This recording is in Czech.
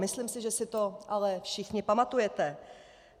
Myslím si, že si to ale všichni pamatujete.